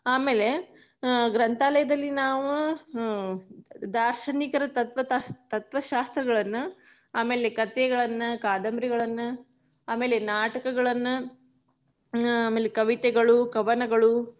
ಆಮೇಲೆ, ಹ ಗ್ರಂಥಾಲಯದಲ್ಲಿ ನಾವು ಅಹ್ ದಾರ್ಶನಿಕರ ತತ್ವ~ ತತ್ವಶಾಸ್ತ್ರಗಳನ್ನ, ಆಮೇಲೆ ಕಥೆಗಳನ್ನ ಕಾದಂಬರಿಗಳನ್ನ, ಆಮೇಲೆ ನಾಟಕಗಳನ್ನ ಆಮೇಲೆ ಅಹ್ ಕವಿತೆಗಳು ಕವನಗಳು.